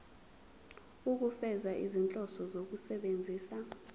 ukufeza izinhloso zokusebenzisa